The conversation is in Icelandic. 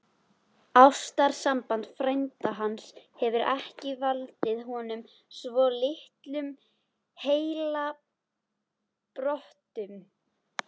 Ástarsamband frænda hans hefur ekki valdið honum svo litlum heilabrotum!